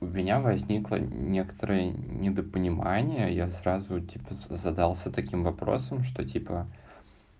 у меня возникло некоторое недопонимание я сразу тебе задался таким вопросом что типа